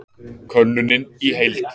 Könnunin í heild